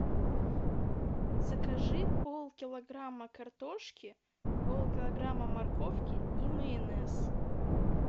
закажи пол килограмма картошки пол килограмма морковки и майонез